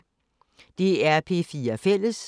DR P4 Fælles